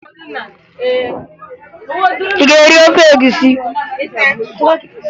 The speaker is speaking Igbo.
Ị ga-eri ofe egwusi?